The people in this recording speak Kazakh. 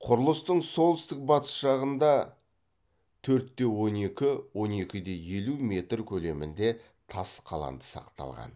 құрылыстың солтүстік батыс жағында төрт те он екі он екі де елу метр көлемінде тас қаланды сақталған